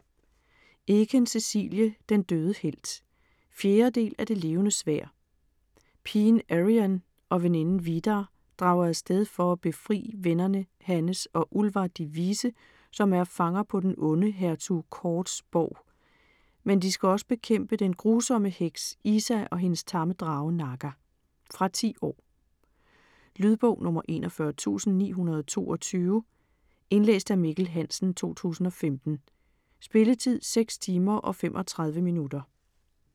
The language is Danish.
Eken, Cecilie: Den døde helt 4. del af Det Levende Sværd. Pigen Eriann og vennen Vidar drager af sted for at befri vennerne Hannes og Ullvar de Vise, som er fanger på den onde hertug Kords borg. Men de skal også bekæmpe den grusomme heks, Iza og hendes tamme drage, Naga. Fra 10 år. Lydbog 41922 Indlæst af Mikkel Hansen, 2015. Spilletid: 6 timer, 35 minutter.